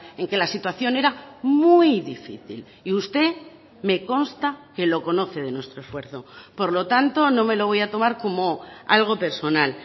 en que la situación era muy difícil y usted me consta que lo conoce de nuestro esfuerzo por lo tanto no me lo voy a tomar como algo personal